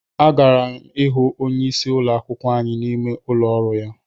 Agara m hụ onyeisi ụlọ akwụkwọ anyị n'ime ụlọ ọrụ ya